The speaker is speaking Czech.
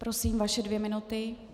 Prosím, vaše dvě minuty.